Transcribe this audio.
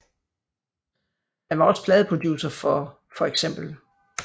Han var også pladeproducer for feks